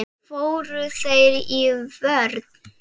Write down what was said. Fóru þeir í vörn?